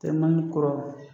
Tɛ naani kɔrɔ.